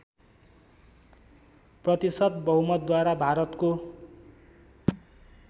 प्रतिशत बहुमतद्वारा भारतको